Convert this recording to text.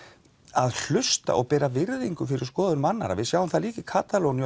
að hlusta og bera virðingu fyrir skoðunum annarra við sjáum það líka í Katalóníu